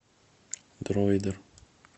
дроидер